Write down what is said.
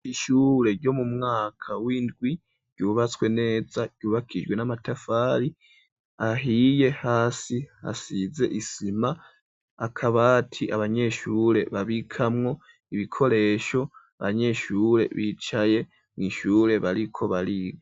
Ishure ryo mu mwaka windwi ryubatswe neza ryubakijwe n'amatafari ahiye hasi hasize isima akabati abanyeshure babikamwo ibikoresho abanyeshure bicaye mu ishure bariko bariga.